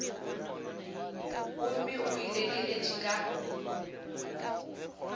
gomme o e lekeletše ka